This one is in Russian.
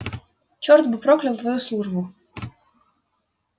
черт бы проклял твою службу